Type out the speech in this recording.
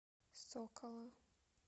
сокола